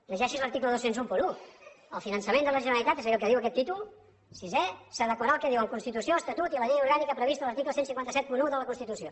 llegeixi’s l’article dos mil onze el finançament de la generalitat és a dir el que diu aquest títol sisè s’adequarà al que diuen constitució estatut i la llei orgànica prevista a l’article quinze setanta u de la constitució